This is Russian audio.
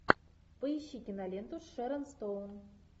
поищи киноленту с шерон стоун